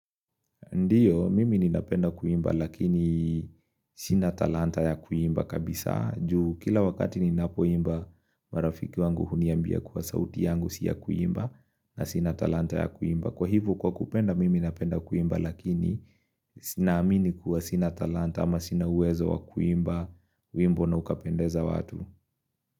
Ndiyo, mimi ninapenda kuimba lakini sinatalanta ya kuimba kabisa juu kila wakati ninapoimba marafiki wangu huniambia kuwa sauti yangu siya kuimba na sinatalanta ya kuimba. Kwa hivo kwa kupenda mimi ninapenda kuimba lakini sinaamini kuwa sina talanta ama sina uwezo wa kuimba wimbo na ukapendeza watu.